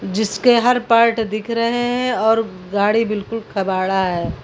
जिसके हर पार्ट दिख रहे हैं और गाड़ी बिल्कुल कबाड़ा है।